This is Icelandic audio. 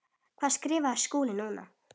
Hvað skrifar Skúli núna?